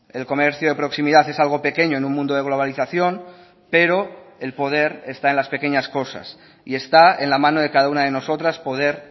el comercio de proximidad es algo pequeño en un mundo de globalización pero el poder está en las pequeñas cosas y está en la mano de cada una de nosotras poder